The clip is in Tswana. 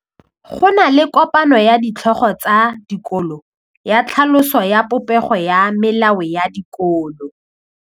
Go na le kopanô ya ditlhogo tsa dikolo ya tlhaloso ya popêgô ya melao ya dikolo.